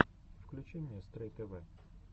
включи мне стрэй тэвэ